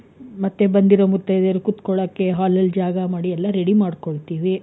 ಮತ್ತೆ ಬಂದಿರ ಮುಥೈದೆರ್ ಕುತ್ತ್ಕೊಲ್ಲಕೆ hall ಅಲ್ಲಿ ಜಗ ಮಾಡಿ ಎಲ್ಲಾ ರೆಡಿ ಮಾಡ್ಕೊಲ್ಲ್ತಿವಿ.